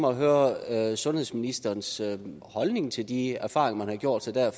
at høre sundhedsministerens holdning til de erfaringer man har gjort sig der